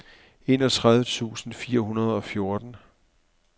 enogtredive tusind fire hundrede og fjorten